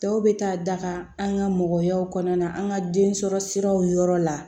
Dɔw bɛ taa daga an ka mɔgɔyaw kɔnɔna an ka den sɔrɔ siraw yɔrɔ la